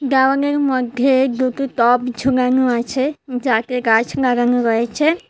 দেওয়ানের মধ্যে দুতো তপ ঝুনানো আছে যাতে গাছ নাগানো রয়েছে।